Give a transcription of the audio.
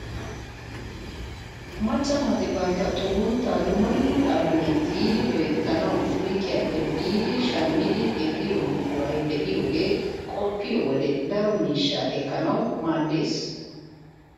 Macca naati bantta xugunttaa dumma dumma qalamiyaan tiyidi loyttanawu suyqiyaappe biidi shammidi ehiyoo buquray de'iyaagee qoppiyoo wode daro miishshaa ekkanawu maaddees!